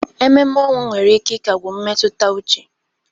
Ememe ọnwụ nwere ike ịkagbu mmetụta uche.